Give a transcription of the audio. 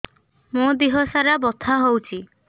ମୋ ଦିହସାରା ବଥା ହଉଚି